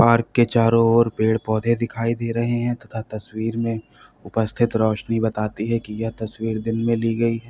Park चारों ओर पेड़ पौधे दिखाई दे रहे हैं तथा तस्वीर में उपस्थित रोशनी बताती है कि यह तस्वीर दिन में ली गई है।